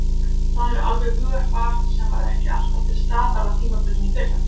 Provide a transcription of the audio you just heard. Það er alveg hugarfar sem var ekki alltaf til staðar á tímabilinu í fyrra.